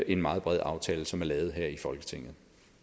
en meget bred aftale som er lavet her i folketinget